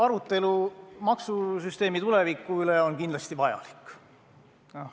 Arutelu maksusüsteemi tuleviku üle on kindlasti vajalik.